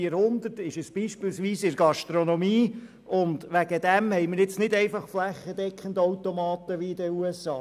3400 Franken beträgt der Mindestlohn beispielsweise in der Gastronomie, und deshalb, Adrian Haas, haben wir jetzt nicht einfach flächendeckend Automaten wie in den USA.